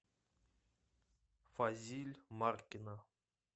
фазиль маркина